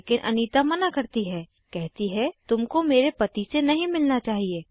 लेकिन अनीता मना करती है कहती है कि तुमको मेरे पति से नहीं मिलना चाहिए